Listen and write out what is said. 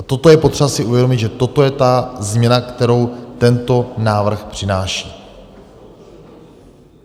A toto je potřeba si uvědomit, že toto je ta změna, kterou tento návrh přináší.